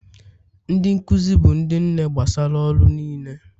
Ndị nkuzi bụ ndị nne gbasara ọrụ niile